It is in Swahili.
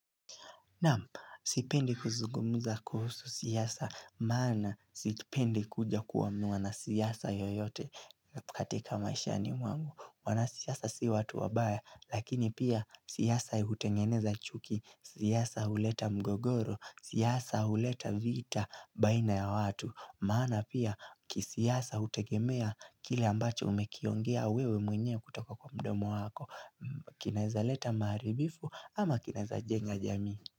Nam, sipendi kuzugumuza kuhusu siyasa, maana sipendi kuja kuwa mwana siyasa yoyote katika maisha ni mwangu. Wana siyasa si watu wabaya, lakini pia siyasa hutengeneza chuki, siyasa uleta mgogoro, siyasa uleta vita baina ya watu. Maana pia kisiyasa hutegemea kile ambacho umekiongea wewe mwenye kutoka kwa mdomo wako Kineza leta maharibifu ama kineza jenga jami.